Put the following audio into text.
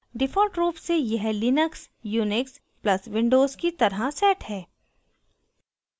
default रूप से यह linux/unix + windows की तरह set है